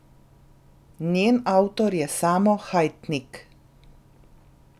Njen avtor je Samo Hajtnik.